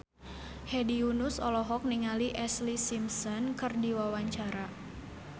Hedi Yunus olohok ningali Ashlee Simpson keur diwawancara